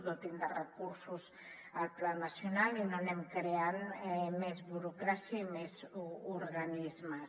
dotin de recursos el pla nacional i no anem creant més burocràcia i més organismes